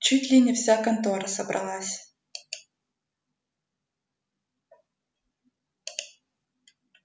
чуть ли не вся контора собралась